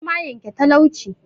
Noma yanke talauci